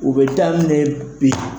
U bɛ daminɛ bi.